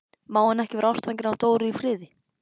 Má hann ekki vera ástfanginn af Dóru í friði?